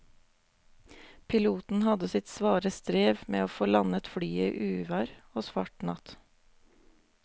Piloten hadde sitt svare strev med å få landet flyet i uvær og svart natt.